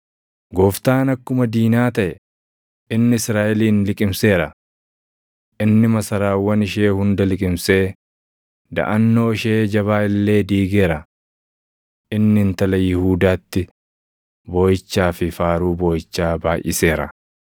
Gooftaan akkuma diinaa taʼe; inni Israaʼelin liqimseera. Inni masaraawwan ishee hunda liqimsee daʼannoo ishee jabaa illee diigeera. Inni Intala Yihuudaatti booʼichaa fi faaruu booʼichaa baayʼiseera.